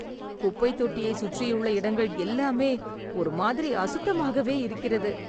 குப்பை தொட்டியை சுற்றியுள்ள இடங்கள் எல்லாமே ஒரு மாதிரி அசுத்தமாகவே இருக்கிறது.